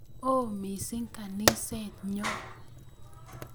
Oo missing' ganiset nyo